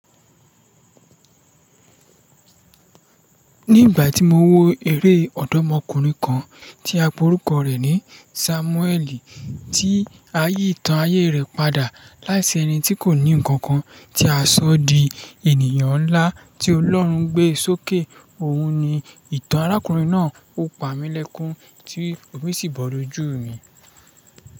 Ní ìgbà tí mo wo eré ọ̀dọ́mọkùnrin kan, tí a pe orúkọ rẹ̀ ní Sámúẹ́ẹ̀lì, tí ayi ìtàn ayé rẹ̀ padà láti ẹni tí kò ní ǹkankan tí a ṣọ di ènìyàn ńlá, tí Ọlọ́run gbé sókè. Òun ni ìtàn arákùnrin náà. Ó pa mí lẹ́kún tí omi sì bọ́ lójú mi.